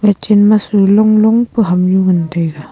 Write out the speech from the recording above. ga chen ma su long long pa hamnu ngan taiga.